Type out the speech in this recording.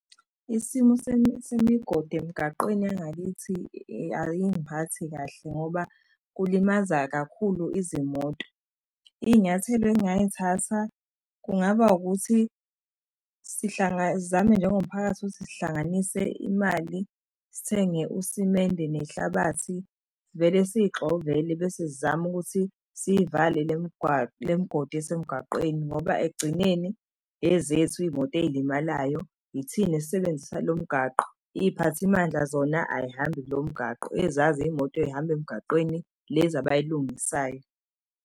Isimo semigodi emgaqweni yangakithi ayingiphathi kahle ngoba kulimaza kakhulu izimoto. Iy'nyathelo engingay'thatha kungaba ukuthi sizame njengomphakathi ukuthi sihlanganise imali sithenge usimende nehlabathi sivele siy'xovele bese sizama ukuthi siyivale le migodi esemgaqweni ngoba ekugcineni ezethu iy'moto ey'limalayo ithina esisebenzisa lo mgaqo. Iy'phathimandla zona ayihambi lomgaqo ezazi iy'moto ey'hamba emgaqweni lezi abayilungisayo.